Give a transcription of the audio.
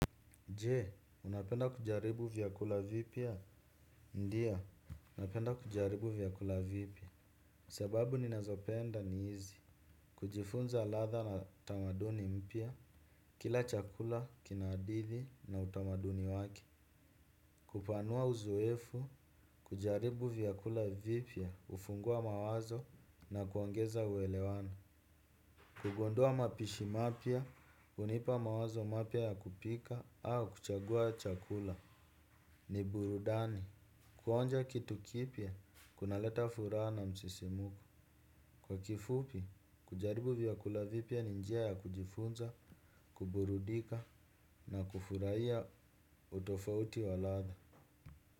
Je, unapenda kujaribu vyakula vipya? Ndio, napenda kujaribu vyakula vipya. Sababu ninazopenda ni hizi. Kujifunza ladha na tamaduni mpya. Kila chakula kina hadithi na utamaduni wake. Kupanua uzoefu, kujaribu vyakula vipya, hufungua mawazo na kuongeza uelewano. Kugundua mapishi mapya, hunipa mawazo mapya ya kupika au kuchagua chakula. Ni burudani. Kuonja kitu kipya, kunaleta furaha na msisimuko. Kwa kifupi, kujaribu vyakula vipya ni njia ya kujifunza, kuburudika na kufurahia utofauti wa ladha.